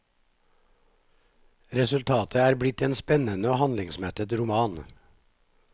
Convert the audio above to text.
Resultatet er blitt en spennende og handlingsmettet roman.